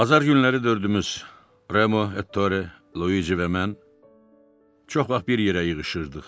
Bazar günləri dördümüz Remu, Ettore, Luici və mən çox vaxt bir yerə yığışırdıq.